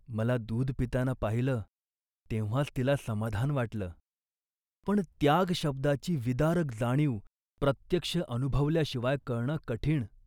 मला दूध पिताना पाहिलं तेव्हाच तिला समाधान वाटलं. पण 'त्याग' शब्दाची विदारक जाणीव प्रत्यक्ष अनुभवल्याशिवाय कळणं कठीण